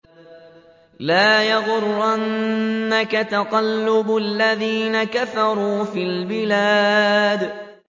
لَا يَغُرَّنَّكَ تَقَلُّبُ الَّذِينَ كَفَرُوا فِي الْبِلَادِ